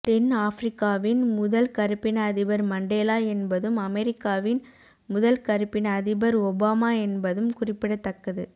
தென் ஆப்பிரிக்காவின் முதல் கருப்பின அதிபர் மண்டேலா என்பதும் அமெரிக்காவின் முதல் கருப்பின அதிபர் ஒபாமா என்பதும் குறிப்பிடத்தக்கது